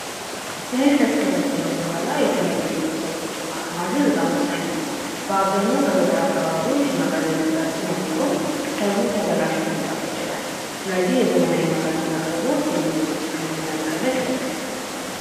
እህል ከተሰበሰበ በኋላ የተለያዩ የምግብ ሰብሎች የማከማቸት በጣም ወሳኝ ነው። በአብዛኛው በገጠር አካባቢዎች የመጋዘን እጥረት ስለሚኖር ሰብሉ ተበላሽቶ ሊጠፋ ይችላል። ስለዚህ የዘመናዊ መጋዘን አቅርቦት የምግብ ብክነትን ለመቀነስ ይረዳል።